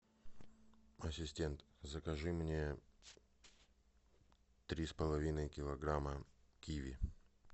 ассистент закажи мне три с половиной килограмма киви